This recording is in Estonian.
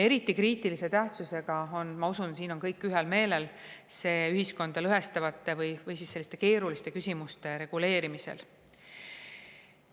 Eriti kriitilise tähtsusega on see – ma usun, et siin on kõik ühel meelel – ühiskonda lõhestavate või muidu keeruliste küsimuste reguleerimisel.